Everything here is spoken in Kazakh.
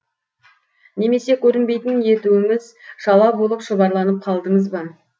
немесе көрінбейтін етуіңіз шала болып шұбарланып қалдыңыз ба